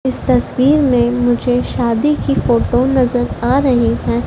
इस तस्वीर में मुझे शादी की फोटो नजर आ रही है।